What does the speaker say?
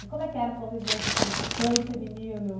E como é que era a convivência assim desse clã feminino?